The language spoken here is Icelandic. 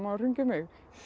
hringja í mig